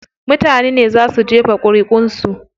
Mutanen ne zaa su jefa ƙuriʼun su.